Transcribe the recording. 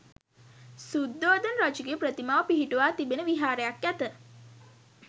සුද්ධෝදන රජුගේ ප්‍රතිමාව පිහිටුවා තිබෙන විහාරයක් ඇත.